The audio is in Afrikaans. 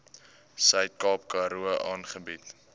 suidkaap karoo aangebied